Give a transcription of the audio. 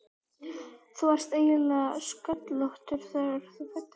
Þú varst eiginlega sköllóttur þegar þú fæddist.